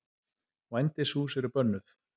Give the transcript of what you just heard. Vændishús eru bönnuð.